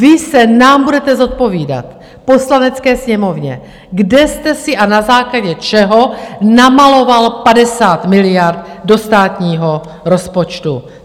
Vy se nám budete zodpovídat, Poslanecké sněmovně, kde jste si a na základě čeho namaloval 50 miliard do státního rozpočtu.